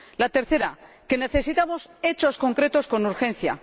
La tercera es que necesitamos hechos concretos con urgencia.